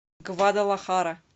гвадалахара